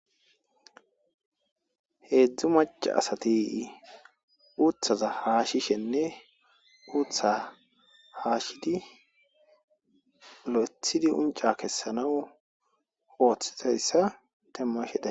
heedzdzu maca asati uthaza haashishenne uutha haashidi lo'ethidi unca kessanaw ooththizayssa demmashe days